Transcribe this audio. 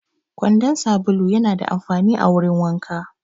Kwandon sabulu yana da amfani a wurin wanka